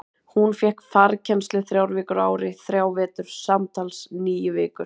Hún fékk farkennslu þrjár vikur á ári í þrjá vetur, samtals níu vikur.